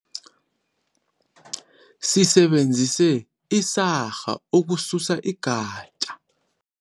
Sisebenzise isarha ukususa igatja.